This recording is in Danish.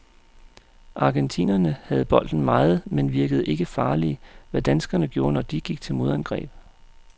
Argentinerne havde bolden meget, men virkede ikke farlige, hvad danskerne gjorde, når de gik til modangreb.